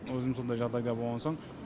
өзім сондай жағдайда болған соң